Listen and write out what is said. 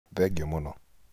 Thengiũ mũno